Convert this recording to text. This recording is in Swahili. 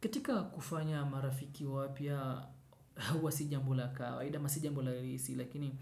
Katika kufanya marafiki wapya huwa si jambo la kawaida ama sio jambo rahisi, lakini